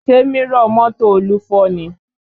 Ṣé mírọ̀ mọ́tò Olú fọ́ ni?